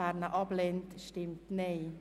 Wer diesen ablehnt, stimmt Nein.